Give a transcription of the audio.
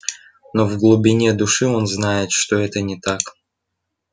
но в глубине души он знает что это не так